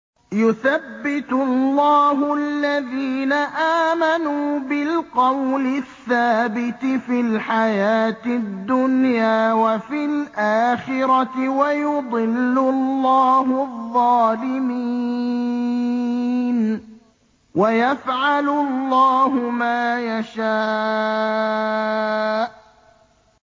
يُثَبِّتُ اللَّهُ الَّذِينَ آمَنُوا بِالْقَوْلِ الثَّابِتِ فِي الْحَيَاةِ الدُّنْيَا وَفِي الْآخِرَةِ ۖ وَيُضِلُّ اللَّهُ الظَّالِمِينَ ۚ وَيَفْعَلُ اللَّهُ مَا يَشَاءُ